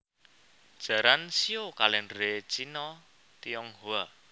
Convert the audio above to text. Jaran shio kalèndher Cina Tionghoa